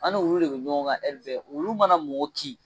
Ani wulu de bɛ ɲɔgɔn kan bɛɛ wulu mana mɔgɔ kin.